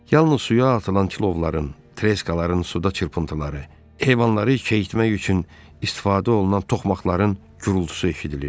Yalnız suya atılan kilovların, treskaların suda çırpıntıları, heyvanları kəyitmək üçün istifadə olunan toxmaqların gurultusu eşidilirdi.